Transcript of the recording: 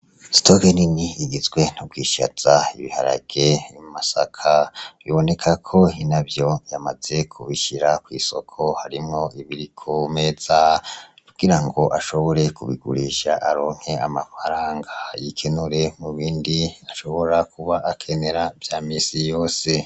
Stogeni ni igizwe ntugwishaza ibiharage imasaka biboneka ko hina vyo yamaze kubishira kw'isoko harimwo ibiri komeza kugira ngo ashobore kubigurisha aronke amafaranga yikenure mu bindi ashobora kuba akenera vya misi yose.